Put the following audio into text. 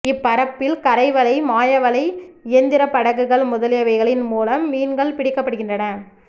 இப்பரப்பில் கரைவலை மாயவலை இயந்திரப் படகுகள் முதலியவைகளின் மூலம் மீன்கள் பிடிக்கப்படுகின்றன